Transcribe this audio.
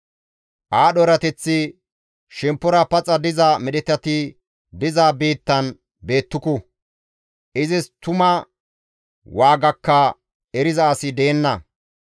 Aadho erateththi shemppora paxa diza medhetati diza biittan beettuku; izis tuma waagakka eriza asi deenna.